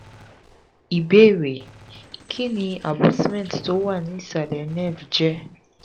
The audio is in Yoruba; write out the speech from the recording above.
ìbéèrè: kí ni abutment tó wà ní ìsàlẹ̀ nerve je?